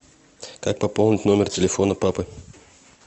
как пополнить номер телефона папы